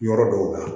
Yɔrɔ dɔw la